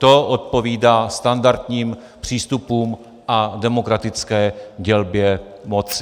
To odpovídá standardním přístupům a demokratické dělbě moci.